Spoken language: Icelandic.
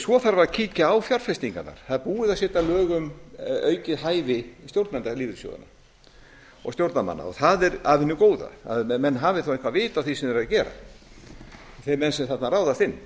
svo þarf að kíkja á fjárfestingarnar það er búið að setja lög um aukið hæfi stjórnenda lífeyrissjóðanna og stjórnarmanna og það er af hinu góða að menn hafi þá eitthvert vit á því sem þeir eru að gera þeir menn sem þarna ráðast inn